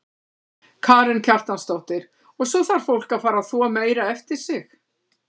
Karen Kjartansdóttir: Og svo þarf fólk að fara að þvo meira eftir sig?